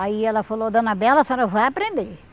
Aí ela falou, dona Bela, a senhora vai aprender.